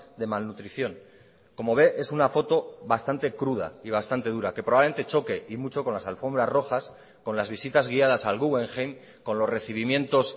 de malnutrición como ve es una foto bastante cruda y bastante dura que probablemente choque y mucho con las alfombras rojas con las visitas guiadas al guggenheim con los recibimientos